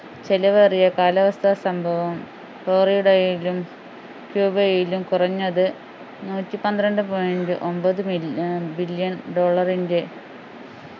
ചെലവേറിയ കാലാവസ്ഥാ സംഭവം ഫ്ളോറിഡയിലും ക്യൂബയിലും കുറഞ്ഞത് നൂറ്റിപന്ത്രണ്ടു point ഒമ്പത് mill ആഹ് billion dollar ൻ്റെ